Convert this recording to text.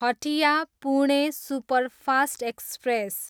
Hatia, Pune superfast express